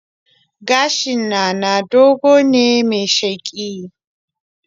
Gashin Nana dogo ne mai sheƙi